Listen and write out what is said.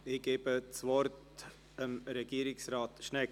Ich gebe das Wort Regierungsrat Schnegg.